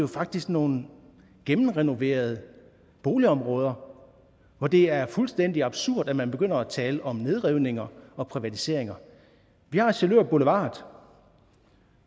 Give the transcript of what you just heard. faktisk nogle gennemrenoverede boligområder hvor det er fuldstændig absurd at man begynder at tale om nedrivninger og privatiseringer vi har sjælør boulevard